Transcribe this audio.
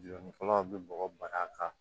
Jɔnnikɛlaw bɛ bɔgɔ bari a kan